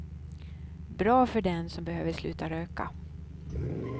Bra för den som behöver sluta röka.